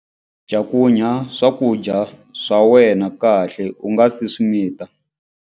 Cakunya swakudya swa wena kahle u nga si swi mita.